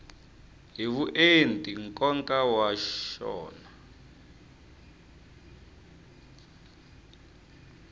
hi vuenti nkoka wa xona